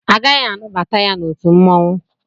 Agaghị anabata ya n'otu mmanwụ.